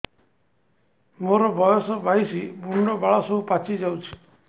ମୋର ବୟସ ବାଇଶି ମୁଣ୍ଡ ବାଳ ସବୁ ପାଛି ଯାଉଛି